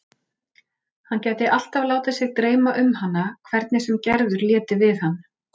Hann gæti alltaf látið sig dreyma um hana hvernig sem Gerður léti við hann.